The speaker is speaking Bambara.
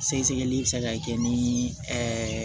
Sɛgɛsɛgɛli bɛ se ka kɛ ni